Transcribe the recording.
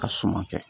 Ka suma kɛ